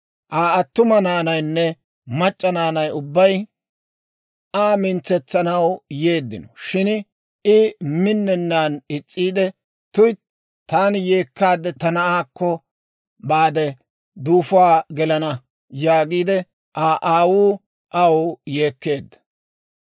Aa attuma naanaynne mac'c'a naanay ubbay Aa mintsetsanaw yeeddino; shin I minnenaan is's'iide, «tuytti, taani yeekkaadde ta na'aakko baade, duufuwaan gelana» yaagiide, Aa aawuu aw yeekkeedda.